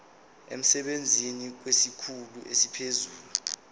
emsebenzini kwesikhulu esiphezulu